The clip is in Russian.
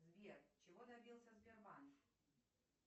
сбер чего добился сбербанк